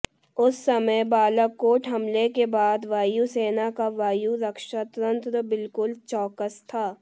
उस समय बालाकोट हमले के बाद वायुसेना का वायु रक्षा तंत्र बिल्कुल चौकस था